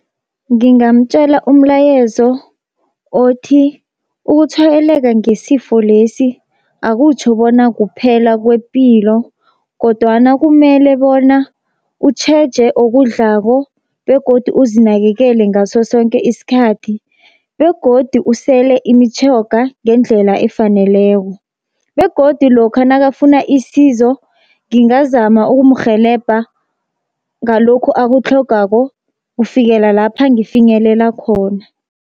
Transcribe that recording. Ngingamtjela umlayezo othi ukutshwayeleka ngesifo lesi akutjho bona kuphela kwepilo, kodwana kumele bona utjheje okudlako begodu uzinakekele ngaso sonke isikhathi. Begodu usele imitjhoga ngendlela efaneleko, begodu lokha nakafuna isizo ngingazama ukumrhelebha ngalokhu akutlhogako kufikela lapha ngifinyelela khona.